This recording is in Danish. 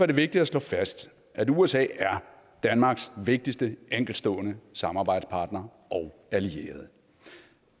det vigtigt at slå fast at usa er danmarks vigtigste enkeltstående samarbejdspartner og allierede